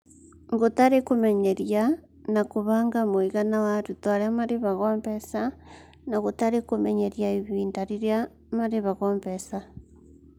Gũtarĩ kũmenyeria na kũbanga mũigana wa arutwo arĩa marĩhagwo mbeca na gũtarĩ kũmenyeria ihinda rĩrĩa marĩhagwo mbeca.